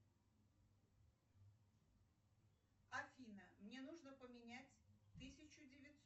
афина мне нужно поменять тысячу девятьсот